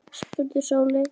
spurði Sóley Björk mig.